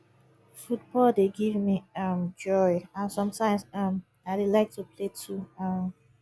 football dey give me um joy and sometimes um i dey like to play too um